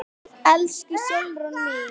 Elsku Sólrún mín.